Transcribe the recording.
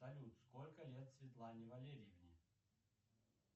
салют сколько лет светлане валерьевне